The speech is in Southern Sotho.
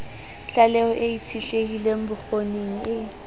tlaleho e itshetlehileng bokgoning e